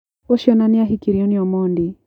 Ũcio ona nĩ ahikirio nĩ Omondi.